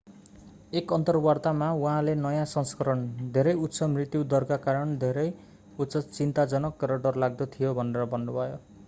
एक अन्तर्वार्तामा उहाँले नयाँ सँस्करण धेरै उच्च मृत्यु दरका कारण धेरै उच्च चिन्ताजनक र डरलाग्दो थियो भनेर भन्नुभयो